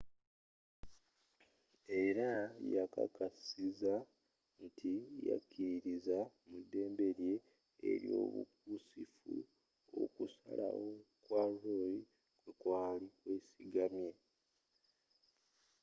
era yakkakkasizza nti yakkiririza mu ddembe lye ely'obukusifu okusalawo kwa roe kwekwaali kwesigamye